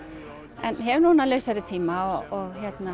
en hef núna lausari tíma og